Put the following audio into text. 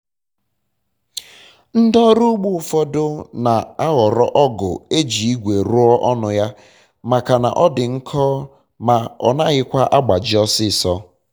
ndị ọrụ ugbo ụfọdụ na-ahọrọ ọgụ eji igwe rụọ ọnụ ya maka na ọdi nkọ ma ọ naghịkwa agbaji ọsịsọ